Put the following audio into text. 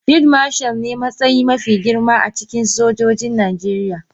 Field Marshal ne matsayi mafi girma a cikin sojojin Najeriya.